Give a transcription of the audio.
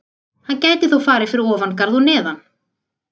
Hann gæti þó farið fyrir ofan garð og neðan.